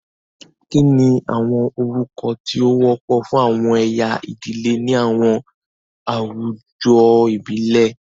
Kini awọn orukọ ti o wọpọ fun awọn ẹya idile ni awọn awujọ ibile?